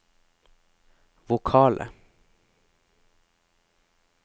vokale